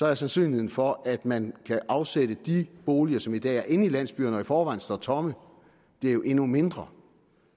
er sandsynligheden for at man kan afsætte de boliger som i dag er inde i landsbyerne og i forvejen står tomme blevet endnu mindre